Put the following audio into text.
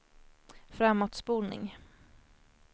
framåtspolning